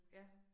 Ja